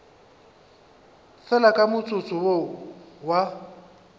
fela ka motsotso wo a